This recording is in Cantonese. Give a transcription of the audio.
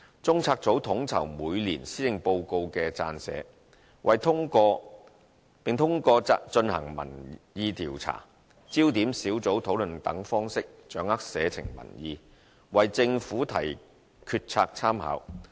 中策組統籌每年施政報告的撰寫，並通過進行民意調查、焦點小組討論等方式掌握社情民意，為政府提決策參考。